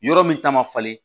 Yɔrɔ min ta ma falen